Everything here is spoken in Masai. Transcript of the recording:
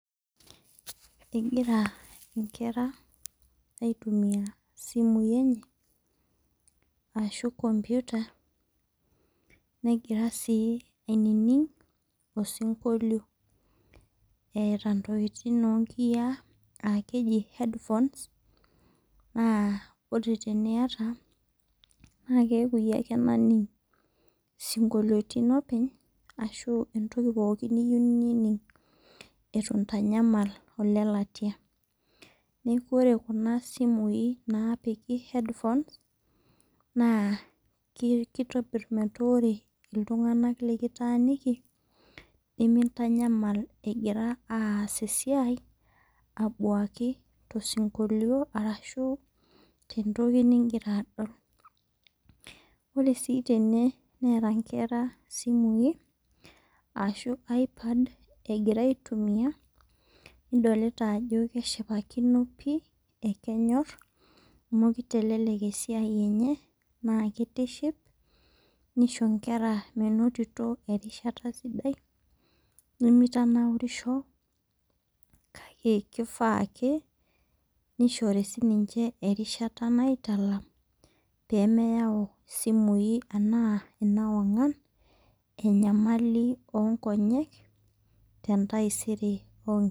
Engira inkera aitumia isimui enye arashu computer negira sii ainining' osinkolio etaa intokitin oo nkiya aa keji headphones naa ore teneyata naa keku iyie ake naning isinkoloitin openy ashu entoki pookin niyeu nining' eitu intanyamal olelatia . Neeku ore kuna simui napiki headphones naa kitobir meeta ore iltung'ana litaniki nimintanyamal egira aas esiai abuaki too sinkolio arashu te ntoki nigira adol. Ore sii tene neeta inkera simuin ashu ipad egira aitumia idolita ajo keshipakino oleng' kenyor amu kitelelek esiai enye na kitiship . Nisho inkera menotito erishata sidai. Nemitanaurisho kake keifaa ke nishore sii ninche erishata aitalam peyie meyau isimui anaa ima wangan enyamali oo nkonyek te ntaisere oo nke.